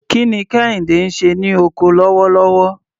Kí ni Kehinde ń ṣe ní oko lọ́wọ́lọ́wọ́?